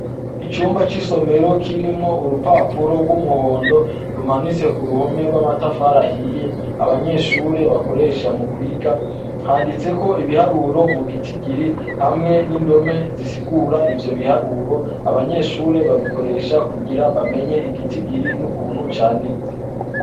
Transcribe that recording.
Icumba c'isomero kirimwo urupapuro rw'umuhondo, rumanitse k'uruhome rw'amatafari ahiye, abanyeshure bakoresha mukwiga, handitseko ibiharuro mu gitigiri, hamwe n'indome zisigura ivyo biharuro, abanyeshure babikoresha kugira bamenye igitigiri n'ukuntu candikwa.